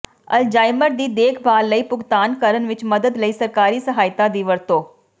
Alzheimer ਦੀ ਦੇਖਭਾਲ ਲਈ ਭੁਗਤਾਨ ਕਰਨ ਵਿੱਚ ਮਦਦ ਲਈ ਸਰਕਾਰੀ ਸਹਾਇਤਾ ਦੀ ਵਰਤੋਂ